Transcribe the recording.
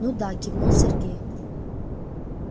ну да кивнул сергей